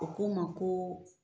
U ko ma ko.